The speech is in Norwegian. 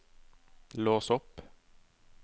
lås opp